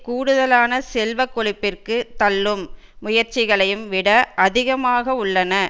கூடுதலான செல்வ கொழிப்பிற்கு தள்ளும் முயற்சிகளையும் விட அதிகமாக உள்ளன